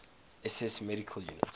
ss medical units